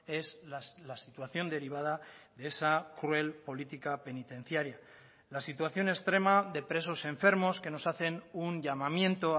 es la situación derivada de esa cruel política penitenciaria la situación extrema de presos enfermos que nos hacen un llamamiento